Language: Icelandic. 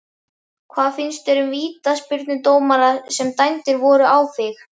Hvað finnst þér um vítaspyrnudómana sem dæmdir voru á þig?